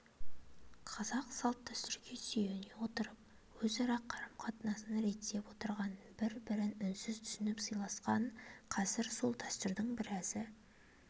қазақ салт-дәстүрге сүйене отырып өзара қарым-қатынасын реттеп отырған бір-бірін үнсіз түсініп сыйласқан қазір сол дәстүрдің біразы